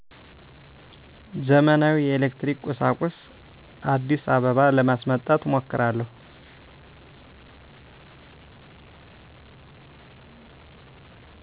ዘመናዊ የኤሌክትሪክ ቁሣቁሥ። አዲስአበባ ለማስመጣት እሞክራለሁ።